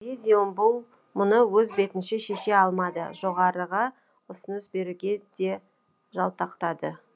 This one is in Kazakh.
бұл мұны өз бетінше шеше алмады жоғарыға ұсыныс беруге де жалтақтады